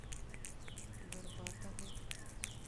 горбатову